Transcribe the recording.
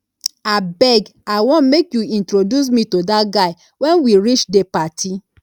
abeg i wan make you introduce me to dat guy wen we reach the party